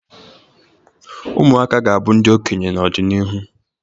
Ụmụaka ga-abụ ndị okenye n'ọdịnihu